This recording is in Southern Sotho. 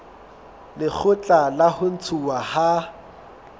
lekgotla la ho ntshuwa ha